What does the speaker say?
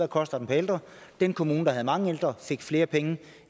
kostede per ældre den kommune der havde mange ældre fik flere penge